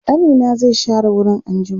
ƙanina zai share wurin anjima